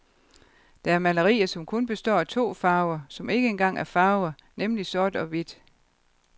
Der er malerier, som kun består af to farver, som ikke engang er farver, nemlig sort og hvidt.